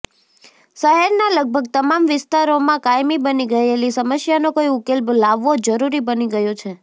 શહેરના લગભગ તમામ વિસ્તારોમાં કાયમી બની ગયેલી સમસ્યાનો કોઇ ઉકેલ લાવવો જરૂરી બની ગયો છે